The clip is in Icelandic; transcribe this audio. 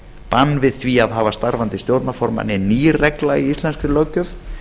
bann við því að hafa starfandi stjórnarformann er ný regla í íslenskri löggjöf